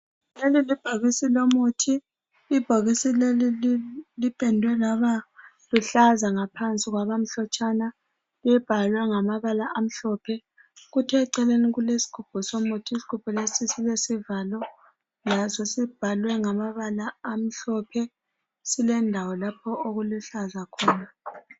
Leli libhokisi lomuthi. Ibhokisi leli lipendwe laba luhlaza ngaphansi kwabamhlotshana. Libhalwe ngamabala amhlophe kuthi eceleni kulesigubhu somuthi. Isigubhu leso silesivalo. Laso sibhalwe ngamabala amhlophe. Silendawo lapho okuluhlaza khona.